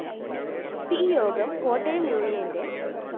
P യോഗം കോട്ടയം യൂണിയന്റെ ംംം